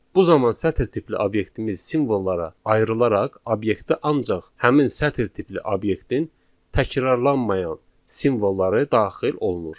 Bu zaman sətr tipli obyektimiz simvollara ayrılaraq obyektə ancaq həmin sətr tipli obyektin təkrarlanmayan simvolları daxil olunur.